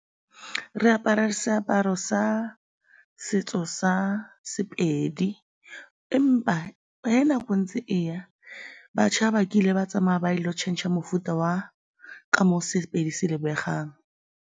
Re apara seaparo sa setso sa Sepedi empa ge nako e ntse e ya, batšha ba kile ba tsamaya ba ile go tšhentšha mofuta wa ka moo Sepedi se lebegang.